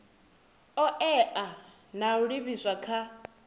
oea na u livhiswa kha